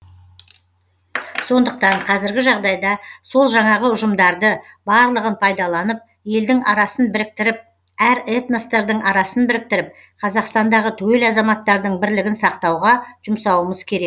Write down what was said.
сондықтан қазіргі жағдайда сол жаңағы ұжымдарды барлығын пайдаланып елдің арасын біріктіріп әр этностардың арасын біріктіріп қазақстандағы түгел азаматтардың бірлігін сақтауға жұмсауымыз керек